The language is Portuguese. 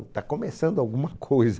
Está começando alguma coisa.